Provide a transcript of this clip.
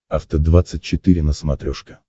афта двадцать четыре на смотрешке